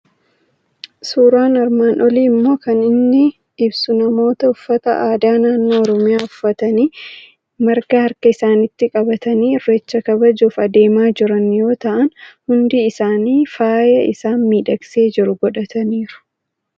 Suuraan armaan olii immoo kan inni ibsu bamoota uffata aadaa naannoo Oromiyaa uffatanii, marga harka isaaniitti qabatanii irreecha kabajuuf adeemaa jiran yoo ta'an, hundi isaanii faaya isaan miidhagsee jiru godhataniiru.